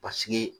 Paseke